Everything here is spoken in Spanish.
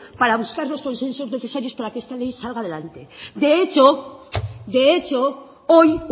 para buscar los consensos necesarios para que esta ley salga adelante de hecho hoy